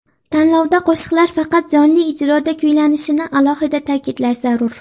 Tanlovda qo‘shiqlar faqat jonli ijroda kuylanishini alohida ta’kidlash zarur.